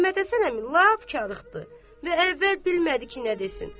Məhəmməd Həsən əmi lap karıxdı və əvvəl bilmədi ki, nə desin.